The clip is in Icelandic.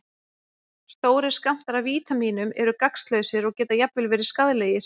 Stórir skammtar af vítamínum eru gagnslausir og geta jafnvel verið skaðlegir.